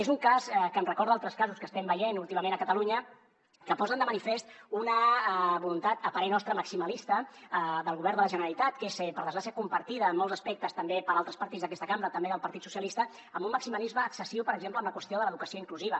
és un cas que em recorda altres casos que estem veient últimament a catalunya que posen de manifest una voluntat a parer nostre maximalista del govern de la generalitat que és per desgràcia compartida en molts aspectes també per altres partits d’aquesta cambra també del partit socialistes amb un maximalisme excessiu per exemple en la qüestió de l’educació inclusiva